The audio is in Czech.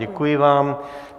Děkuji vám.